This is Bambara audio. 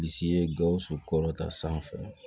Bilisi ye gawusu kɔrɔta sanfɛ